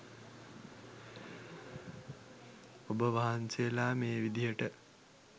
ඔබ වහන්සේලා මේ විදියට